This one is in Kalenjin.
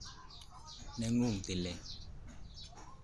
Neng'ung' tilet